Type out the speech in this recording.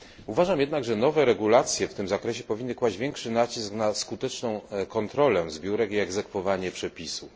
Uważam jednak, że nowe regulacje w tym zakresie powinny kłaść większy nacisk na skuteczną kontrolę zbiórek i egzekwowanie przepisów.